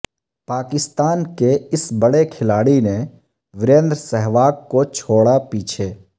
پاکستان کے اس بڑے کھلاڑی نے وریندر سہواگ کو چھوڑا پیچھے